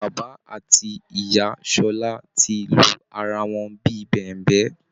Bàbà àti ìyá Ṣọlá ti lu ara wọn bí i bẹ̀ǹbẹ́